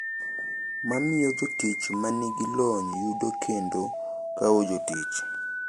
Ma miyo jotich ma nigi lony yudo kendo kawo jotich.